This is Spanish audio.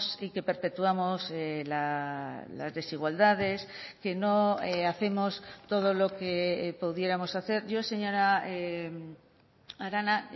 y que perpetuamos las desigualdades que no hacemos todo lo que pudiéramos hacer yo señora arana